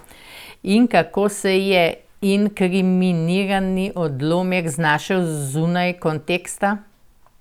In kako se je inkriminirani odlomek znašel zunaj konteksta?